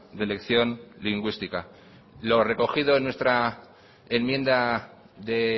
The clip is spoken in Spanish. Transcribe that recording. de elección lingüística lo recogido en nuestra enmienda de